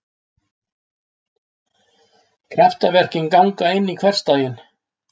Kraftaverkin ganga inn í hversdaginn.